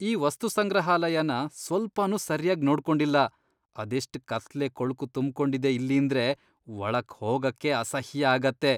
ಈ ವಸ್ತುಸಂಗ್ರಹಾಲಯನ ಸ್ವಲ್ಪನೂ ಸರ್ಯಾಗ್ ನೋಡ್ಕೊಂಡಿಲ್ಲ, ಅದೆಷ್ಟ್ ಕತ್ಲೆ, ಕೊಳ್ಕು ತುಂಬ್ಕೊಂಡಿದೆ ಇಲ್ಲೀಂದ್ರೆ ಒಳಗ್ ಹೋಗಕ್ಕೇ ಅಸಹ್ಯ ಆಗತ್ತೆ.